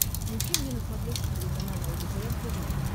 включи мне на смотрешке телеканал лдпр тв